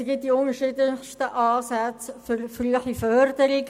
Es gibt die unterschiedlichsten Ansätze für eine frühe Förderung.